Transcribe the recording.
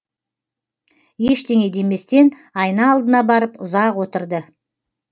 ештеңе деместен айна алдына барып ұзақ отырды